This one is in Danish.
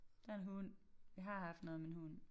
Der en hund vi har haft noget med en hund